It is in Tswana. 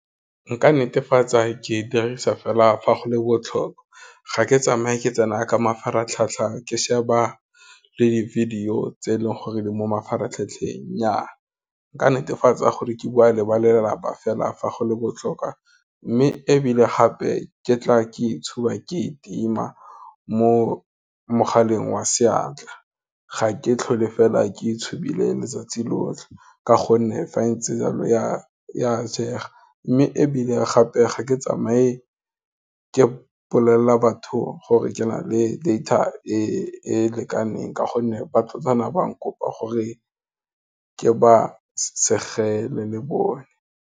Nka netefatsa ke dirisa fela fa go le botlhokwa, ga ke tsamaye ke tsena ka mafaratlhatlha ke sheba le di-video tse e leng gore, di mo mafaratlhatlheng, nnyaa nka netefatsa gore ke bua le balelapa fela fa go le botlhokwa, mme ebile gape ke tla ke itshupa ke e tima mo mogaleng wa seatla, ga ke tlhole fela ke itshibile letsatsi lotlhe, ka gonne fa go ntse jalo ya jeega, mme ebile gape ga ke tsamaye ke mpolelela batho gore ke na le data e lekaneng ka gonne, ba tlogana ba nkopa gore ke ba segele le bone.